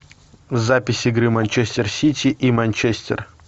запись игры манчестер сити и манчестер